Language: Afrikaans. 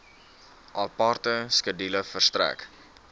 aparte skedule verstrek